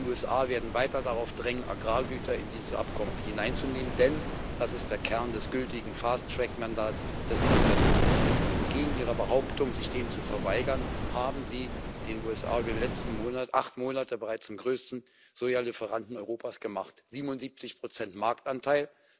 Die USA werden weiter darauf drängen, Agrargüter in dieses Abkommen hineinzunehmen, denn das ist der Kern des gültigen Fast track Mandats des Kongresses. Entgegen Ihrer Behauptung, sich dem zu verweigern, haben Sie die USA über die letzten acht Monate bereits zum größten Soja Lieferanten Europas gemacht 77 Marktanteil.